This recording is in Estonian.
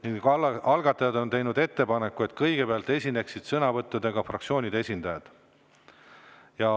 algataja on teinud ettepaneku, et kõigepealt esineksid sõnavõttudega fraktsioonide esindajad.